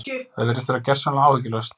Það virðist vera gersamlega áhyggjulaust.